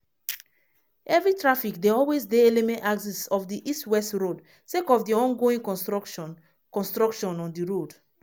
heavy traffic dey always dey eleme axis of di east west road sake of di ongoing construction construction on di road.